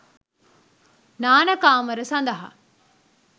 නාන කාමර සඳහා